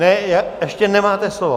Ne, ještě nemáte slovo.